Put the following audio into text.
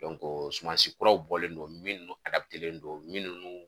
sumansi kuraw bɔlen don minnu don minnu